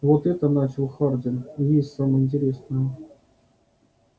вот это начал хардин и есть самое интересное